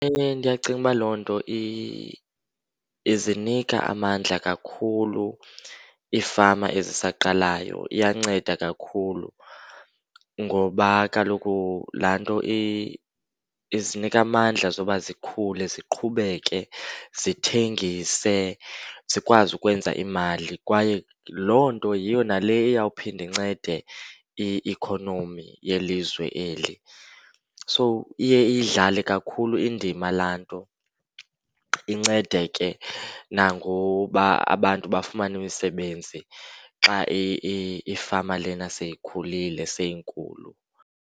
Ewe, ndiyacinga ukuba loo nto izinika amandla kakhulu iifama ezisaqalayo, iyanceda kakhulu. Ngoba kaloku laa nto izinika amandla zoba zikhule, ziqhubeke zithengise, zikwazi ukwenza imali. Kwaye loo nto yiyo nale iya kuphinda incede ikhonomi yelizwe eli. So iye iyidlale kakhulu indima laa nto incede ke nangoba abantu bafumane imisebenzi xa ifama lena seyikhulile, seyinkulu.